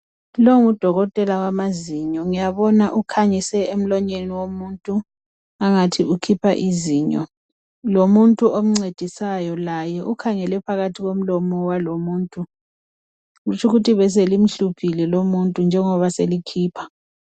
Lo ngudokotela wamazinyo ngiyabona ukhanyise emlonyeni womuntu angathi ukhipha izinyo lomuntu omncedisayo laye ukhangele phakathi komlomo walomuntu kutsho ukuthi beselimhluphile lomuntu njengoba selikhipha.